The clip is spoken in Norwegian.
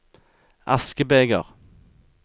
askebeger